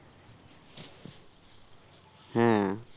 হ্যাঁ